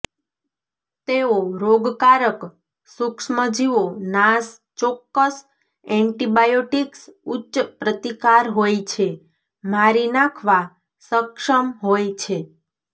તેઓ રોગકારક સૂક્ષ્મજીવો નાશ ચોક્કસ એન્ટીબાયોટીક્સ ઉચ્ચ પ્રતિકાર હોય છે મારી નાંખવા સક્ષમ હોય છે